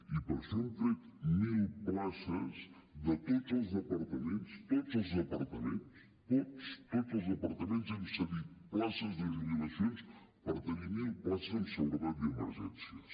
i per això hem tret mil places de tots els departaments tots els departaments tots tots els departaments hem cedit places de jubilacions per tenir mil places en seguretat i emergències